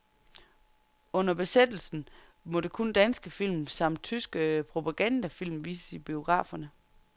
Under besættelsen måtte kun danske film, samt tyske propagandafilm, vises i biograferne.